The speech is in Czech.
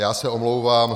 Já se omlouvám.